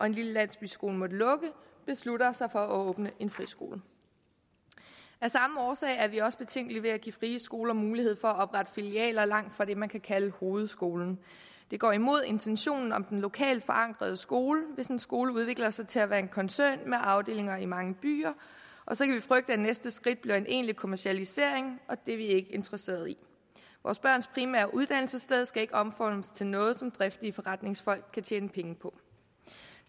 en lille landsbyskole har måttet lukke beslutter sig for at åbne en friskole af samme årsag er vi også betænkelige ved at give frie skoler mulighed for at oprette filialer langt fra det man kan kalde hovedskolen det går imod intentionen om den lokalt forankrede skole hvis en skole udvikler sig til at være en koncern med afdelinger i mange byer og så kan vi frygte at næste skridt bliver en egentlig kommercialisering og det er vi ikke interesserede i vores børns primære uddannelsessted skal ikke omformes til noget som driftige forretningsfolk kan tjene penge på